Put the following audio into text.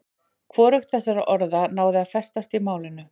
Hvorugt þessara orða náði að festast í málinu.